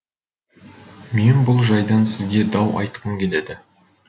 мен бұл жайдан сізге дау айтқым келеді